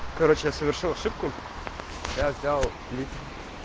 короче я совершил ошибку я взял клип